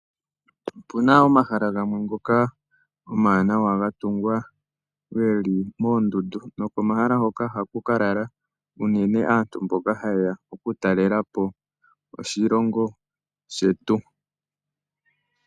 Opu na omahala gamwe ngoka omawanawa, ga tungwa ge li moondundu nopomahala mpoka hapu ka lala unene aantu mbono haye ya oku talela po oshilongo shetu.